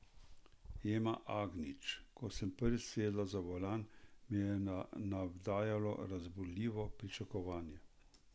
Ema Agnič: "Ko sem prvič sedla za volan, me je navdajalo razburljivo pričakovanje.